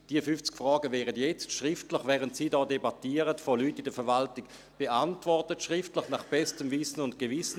Diese 50 Fragen werden jetzt schriftlich, während Sie hier debattieren, von Personen in der Verwaltung beantwortet, schriftlich, nach bestem Wissen und Gewissen.